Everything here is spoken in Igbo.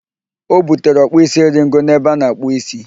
O butere ọkpụ isi eringo n'ebe ana-akpụ ísí